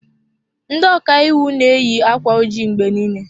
Ndị ọka iwu na-eyi akwa ojii mgbe niile.